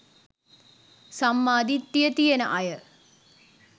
සම්මා දිට්ඨිය තියෙන අය